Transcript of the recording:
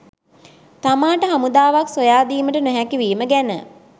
තමාට හමුදාවක් සොයා දීමට නොහැකිවීම ගැන.